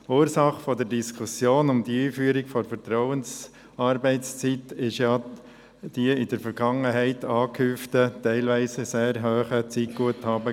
Ursache der Diskussion um die Einführung der Vertrauensarbeitszeit waren in der Vergangenheit die gehäuften, teilweise sehr hohen Zeitguthaben.